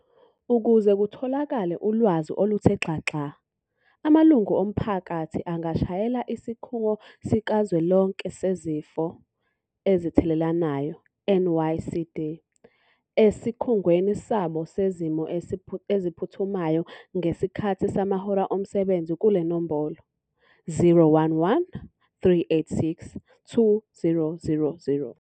Ukuze kutholakale ulwazi oluthe xaxa, amalungu omphakathi angashayela Isikhungo Sikazwelonke Sezifo Ezithelelanayo, NICD, Esikhungweni Sabo Sezimo Eziphuthumayo ngesikhathi samahora omsebenzi kule nombolo- 011 386 2000.